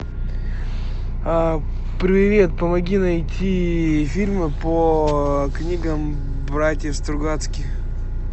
привет помоги найти фильмы по книгам братьев стругацких